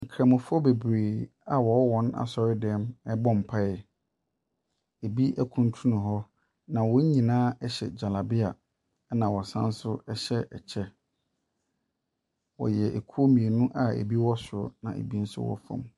Nkramofoɔ bebree a wɔwɔ wɔn asɔredan mu rebɔ mpaeɛ. Ebi akuntunu hɔ, na wɔn nyinaa hyɛ gyalabea na wɔsan nso hyɛ kyɛ. Wɔyɛ kuo mmienu a ebi wɔ soro na ebi nso wɔ fam.